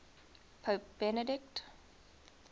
pope benedict